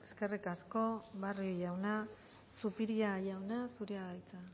eskerrik asko barrio jauna zupiria jauna zurea da hitza